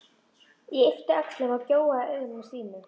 Ég yppti öxlum og gjóaði augunum á Stínu.